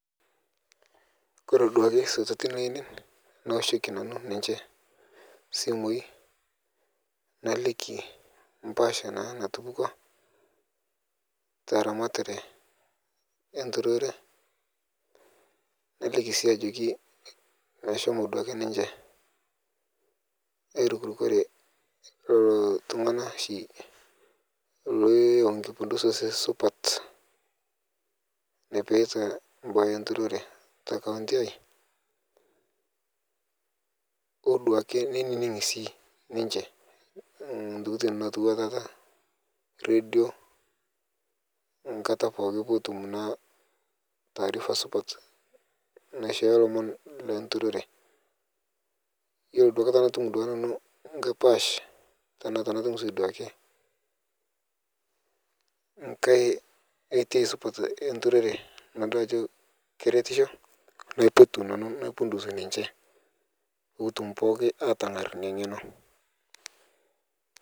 koree aduaki sosotin ainei naoshoki nanu ninche isimui naliki empasha naa natupukuo taramatare enturore naliki sii ajoki ashomo aduaki ninche airukurukore lelo tungana oshi lenosu supat nepeita enturore te kaunti ai ooduaki nenining sii ninche ntokitin nawuatata redio ankataa pookin peetum, naataarifa supat naishoyo lomon le nturore yiolo duakata natum nanu enkae paash tenaa katum sii duake enturore naipotu sinche peetum pookin atangar ina ngeno